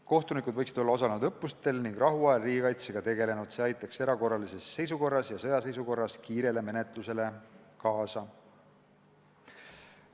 Kohtunikud võiksid olla osalenud õppustel ning rahuajal tegelenud riigikaitsega, see aitaks erakorralises seisukorras ja sõjaseisukorras menetlust kiirendada.